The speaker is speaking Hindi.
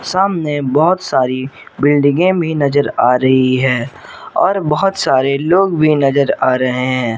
सामने बहुत सारी बिल्डिंगें भी नजर आ रही है और बहुत सारे लोग भी नजर आ रहे है।